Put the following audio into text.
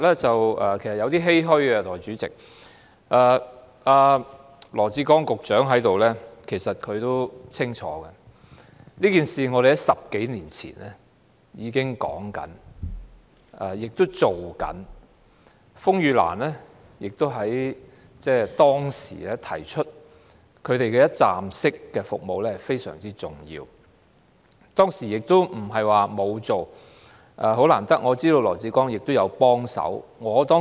在座的羅致光局長其實也很清楚這情況，我們在10多年前已經提出要推行有關建議，風雨蘭指出提供一站式服務非常重要，當時不是沒有推動，我知道羅致光也有幫忙。